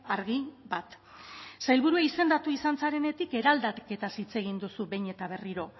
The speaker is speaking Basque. argi bat sailburu izendatu izan zarenetik eraldaketaz hitz egin duzu behin eta berriro